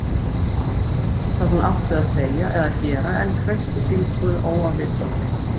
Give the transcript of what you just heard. Hún vissi ekki hvað hún átti að segja eða gera en kreisti símtólið óafvitandi.